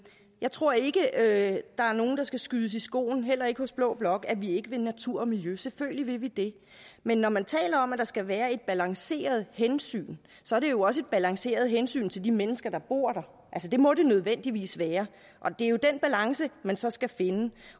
jeg tror ikke at der er nogen der skal skyde os i skoene heller ikke hos blå blok at vi ikke vil natur og miljø selvfølgelig vil vi det men når man taler om at der skal være et balanceret hensyn så er det jo også et balanceret hensyn til de mennesker der bor der det må det nødvendigvis være det er jo den balance man så skal finde